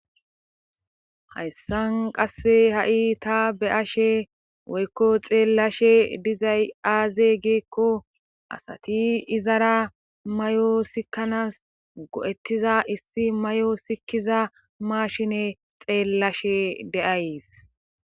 Hayssan qasse ha7i ta be ashe woykko xeellashe dizay aaze geekko asati izara may7o sikkanas go7ettiza issi may7o sikiza maashine xeellashe de'ays.